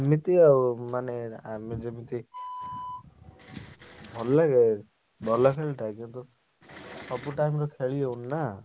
ସେମତି ଆଉ ମାନେ ଆମେ ଯେମିତି ଭଲ ଲାଗେ ଭଲ ଖେଳ ଟା କିନ୍ତୁ ସବୁ time ରେ ଖେଳି ହଉନି ନା?